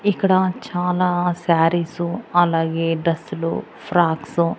ఇక్కడ చాలా శారీసు అలాగే డ్రస్సులు ఫ్రాక్సు --